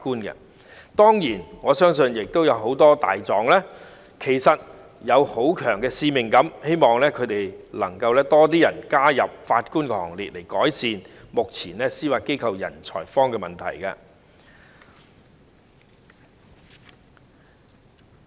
不過，我相信有很多"大狀"也有很強烈的使命感，希望日後會有更多人加入法官的行列，以改善目前司法機構"人才荒"的問題。